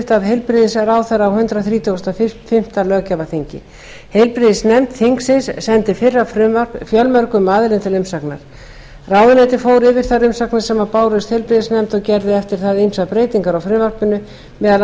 af heilbrigðisráðherra á hundrað þrítugasta og fimmta löggjafarþingi heilbrigðisnefnd þingsins sendi fyrra frumvarp fjölmörgum aðilum til umsagnar ráðuneytið fór yfir þær umsagnir sem bárust heilbrigðisnefnd og gerði eftir það ýmsar breytingar á frumvarpinu meðal